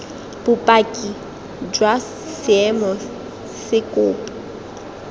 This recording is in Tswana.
bopaki jwa seemo se kopo